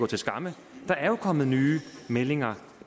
til skamme der er jo kommet nye meldinger